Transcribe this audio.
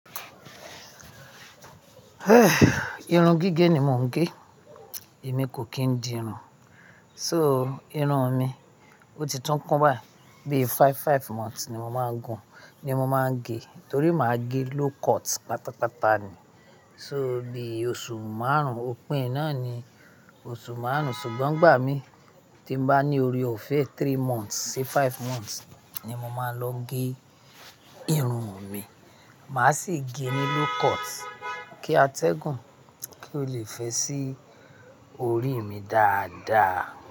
Irun gígé ni mò ń gẹ, èmi kò kí ń di irun. So, irun mi ó ti tún kún báyìí, bíi five, five months ni mo máa ń gun, ni mo máa ń gẹ. Nítorí mà á gẹ low cut pátápátá ni. So bí oṣù márùn-ún, òpin e náà ni oṣù márùn-ún, ṣùgbọ́n n gbà mí tí n bá ní ọ̀rẹ́ ọ̀fẹ́ ẹ, three months sí five months ni mo máa ń lọ gẹ irun mi. Mà á sì gẹ ní low cut kí a tẹ́gùn, kí ó lè fẹ́ sí orí mi dáadáa.